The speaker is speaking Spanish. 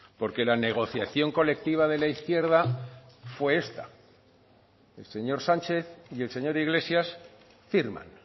porque la negociación colectiva de la izquierda fue esta el señor sánchez y el señor iglesias firman